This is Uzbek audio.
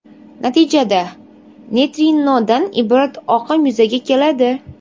Natijada, neytrinodan iborat oqim yuzaga keladi.